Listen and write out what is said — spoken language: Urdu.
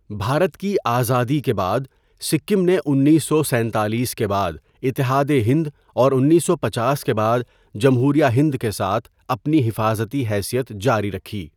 بھارت کی آزادی کے بعد، سکم نے انیسو سینتالیس کے بعد اتحاد ہند اور انیسو پچاس کے بعد جمہوریہ ہند کے ساتھ اپنی حفاظتی حیثیت جاری رکھی.